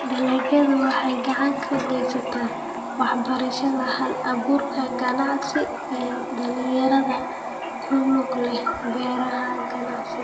Dalagyadu waxay gacan ka geystaan ??waxbarashada hal-abuurka ganacsi ee dhalinyarada ku lug leh beeraha ganacsiga.